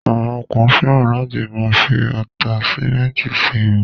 Àwọn kan fẹ́ràn láti máa fi àtáṣmẹ̀ntì ṣe irun.